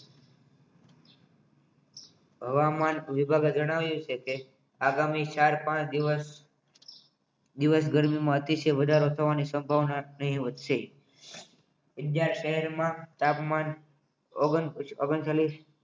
હવામાન વિભાગ જણાવ્યું છે કે આગામી ચાર-પાંચ દિવસ ગરમીમાં અતિશય અતિશય વધારે ગરમી થવાની શક્યતા છે બીજા શહેરમાં તાપમાન ઓગંત્રિસ ઑગૅણ્ચ ચાલિસ